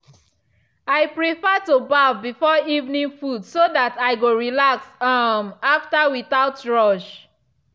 i prefer to baff before evening food so that i go relax um after without rush.